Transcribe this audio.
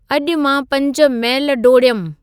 अॼु मां पंज मैलु डोड़ियमि